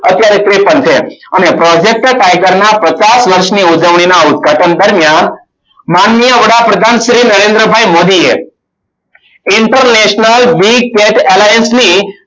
અત્યારે ત્રેપન છે. અને project tiger ના પચાસ વર્ષની ઉજવણીના ઉદઘાટન દરમિયાન માનનીય વડાપ્રધાન શ્રી નરેન્દ્ર ભાઈ મોદીએ international Big tat alliance ની